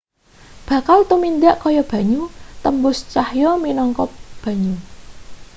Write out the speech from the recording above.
bakal tumindak kaya banyu tembus cahya minangka banyu